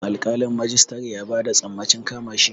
Alƙalin majistare ya ba da sammacin kama shi.